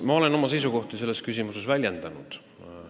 Ma olen oma seisukohta selles küsimuses väljendanud.